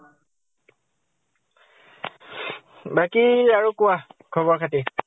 বাকী আৰু কোৱা খবৰ খাতি ?